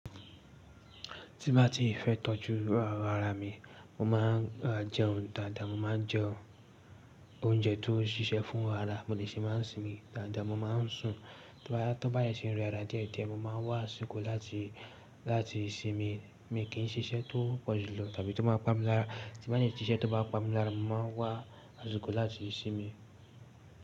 Tí n bá ti fẹ́ tọ́jú ara mi, mo máa ń jẹun dáadáa, mo máa ń jẹ oúnjẹ tó ṣíṣe fún ara, mo de ṣe máa ń sinmi dáadáa, mo máa ń sùn. Tí bá yẹ́ ṣe ń rọ ara díẹ̀ díẹ̀, mo máa wá àsìkò láti, láti sinmi, mi kì í ṣiṣẹ́ tó pọ̀jùlọ tàbí tó máa pa mi lára. Tí bá yẹ́ ṣe iṣẹ́ tó bá pa mi lára, mo máa wá àsìkò láti sinmi.